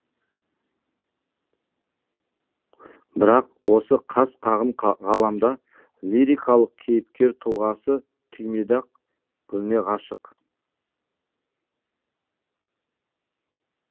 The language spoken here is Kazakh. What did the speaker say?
бірақ осы қас қағым ғаламда лирикалық кейіпкер тұлғасы түймедақ гүліне ғашық